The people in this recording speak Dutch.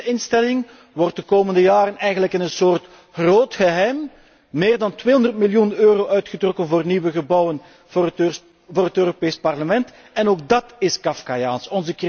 Ook in déze instelling wordt de komende jaren eigenlijk in een soort 'groot geheim' meer dan 200 miljoen euro uitgetrokken voor nieuwe gebouwen voor het Europees Parlement en ook dát is kafkaiaans.